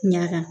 Ɲaga